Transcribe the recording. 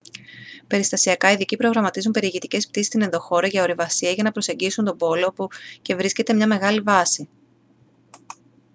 περιστασιακά ειδικοί προγραμματίζουν περιηγητικές πτήσεις στην ενδοχώρα για ορειβασία ή για να προσεγγίσουν τον πόλο όπου και βρίσκεται μια μεγάλη βάση